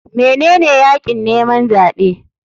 Menene yakin neman zaɓe?